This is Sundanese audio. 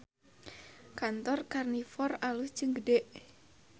Kantor Karnivor alus jeung gede